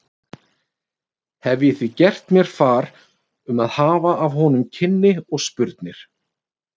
Hef ég því gert mér far um að hafa af honum kynni og spurnir.